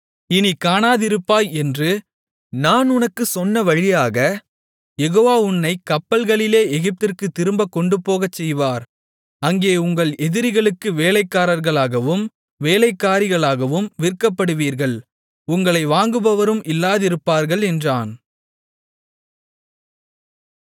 இனிக் காணாதிருப்பாய் என்று நான் உனக்குச் சொன்னவழியாக யெகோவா உன்னைக் கப்பல்களிலே எகிப்திற்குத் திரும்பக் கொண்டுபோகச்செய்வார் அங்கே உங்கள் எதிரிகளுக்கு வேலைக்காரர்களாகவும் வேலைக்காரிகளாகவும் விற்கப்படுவீர்கள் உங்களைக் வாங்குபவரும் இல்லாதிருப்பார்கள் என்றான்